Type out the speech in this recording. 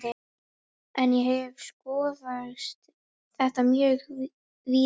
En ég hef skoðað þetta mjög víða.